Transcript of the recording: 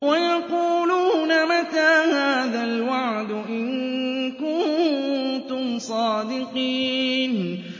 وَيَقُولُونَ مَتَىٰ هَٰذَا الْوَعْدُ إِن كُنتُمْ صَادِقِينَ